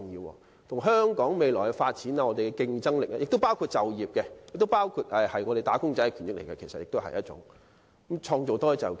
這關乎香港未來的發展和競爭力，同時亦涉及就業問題，與我們"打工仔"的權益息息相關，也可以創造更多就業機會。